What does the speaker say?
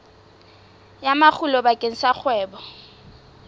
ya makgulo bakeng sa kgwebo